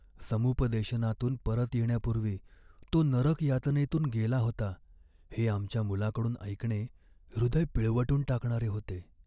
समुपदेशनातून परत येण्यापूर्वी तो नरक यातनेतून गेला होता हे आमच्या मुलाकडून ऐकणे हृदय पिळवटून टाकणारे होते.